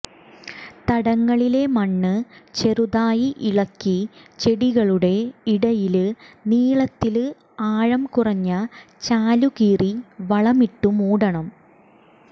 തടങ്ങളിലെ മണ്ണ് ചെറുതായി ഇളക്കി ചെടികളുടെ ഇടയില് നീളത്തില് ആഴം കുറഞ്ഞ ചാലു കീറി വളമിട്ടു മൂടണം